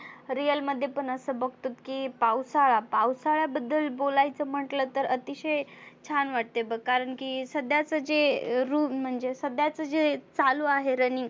real मध्ये पण असं बघतो की पावसाळा पावसाळ्या बद्दल बोलायच म्हटलं तर अतिशय छान वाटते बघ कारण की सध्याच जे room म्हणजे सध्याच जे चालु आहे running